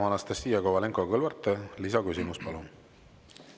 Anastassia Kovalenko-Kõlvart, lisaküsimus, palun!